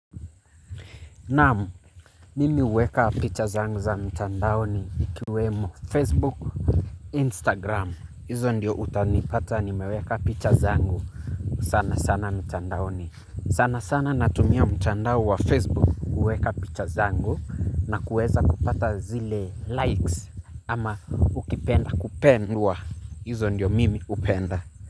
Naam, mimi uweka picha zangu za mtandaoni ikiwemo Facebook, Instagram. Izo ndio utanipata nimeweka picha zangu sana sana mtandaoni. Sana sana natumia mtandao wa Facebook kuweka picha zangu na kuweza kupata zile likes. Ama ukipenda kupendwa, izo ndio mimi upenda.